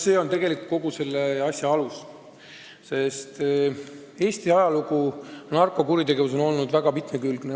" See on tegelikult kogu selle asja alus, sest Eesti narkokuritegevuse ajalugu on olnud väga mitmekülgne.